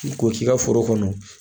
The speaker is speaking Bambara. K'o k'i ka foro kɔnɔ